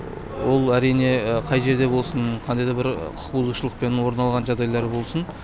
ол әрине қай жерде болсын қандай да бір құқықбұзушылықпен орын алған жағдайлар болсын